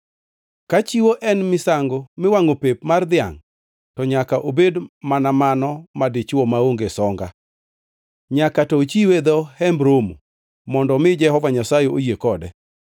Ka chiwo en misango miwangʼo pep mar dhiangʼ, to nyaka obed mana mano madichwo maonge songa. Nyaka to ochiwe e dho Hemb Romo mondo omi Jehova Nyasaye oyie kode.